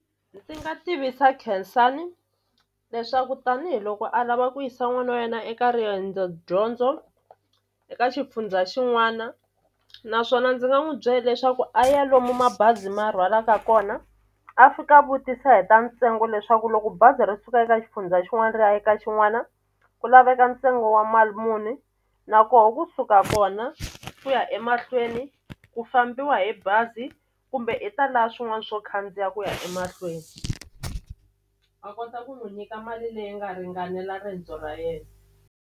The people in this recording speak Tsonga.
Ndzi nga tivisa Khensani leswaku tanihiloko a lava ku yisa n'wana wa yena eka riendzo dyondzo eka xifundza xin'wana naswona ndzi nga n'wi bye leswaku a ya lomu mabazi ma rhwalaka kona a fika a vutisa hi ta ntsengo leswaku loko bazi ri suka eka xifundza xin'wana ri ya eka xin'wana ku laveka ntsengo wa mali muni na koho kusuka kona ku ya emahlweni ku fambiwa hi bazi kumbe i ta la swin'wani swo khandziya ku ya emahlweni a kota ku n'wi nyika mali leyi nga ringanela riendzo ra yena.